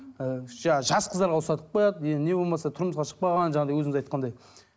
ыыы жаңағы жас қыздарға ұстатып қояды енді не болмаса тұрмысқа шықпаған жаңағыдай өзіңіз айтқандай